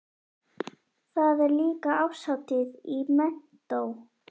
Það er líka árshátíð í menntó.